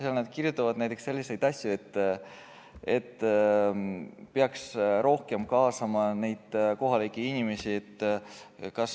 Seal nad kirjutavad näiteks selliseid asju, et peaks rohkem kaasama kohalikke inimesi.